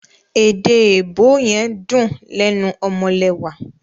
Èèdè èèbó yen dún lénu omolewà.